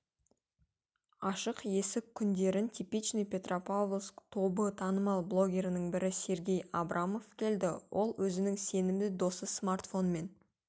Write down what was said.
ашық есік күндерін типичный петропавловск тобы танымал блогерлерінің бірі сергей абрамов келді ол өзінің сенімді досы-смартфонмен